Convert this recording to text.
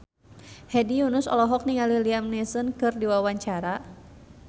Hedi Yunus olohok ningali Liam Neeson keur diwawancara